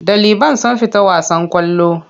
Ɗaliban sun fita wasan ƙwallo.